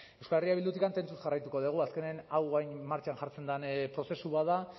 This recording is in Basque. euskal herria bildutik tentuz jarraituko dugu azkenean hau martxan jartzen den prozesu bat da